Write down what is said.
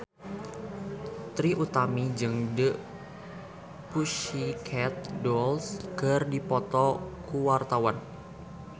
Trie Utami jeung The Pussycat Dolls keur dipoto ku wartawan